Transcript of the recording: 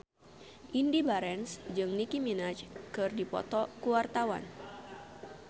Indy Barens jeung Nicky Minaj keur dipoto ku wartawan